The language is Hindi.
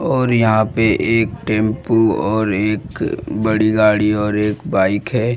और यहां पे एक टेंपू और एक बड़ी गाड़ी और एक बाइक है।